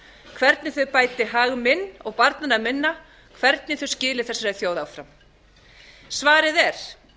hvernig þau bæti hag minn og barnanna minna hvernig þau skili þessari þjóð áfram svarið er